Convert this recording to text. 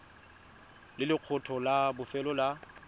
le lekgetho la bofelo la